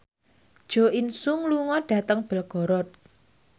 Jo In Sung lunga dhateng Belgorod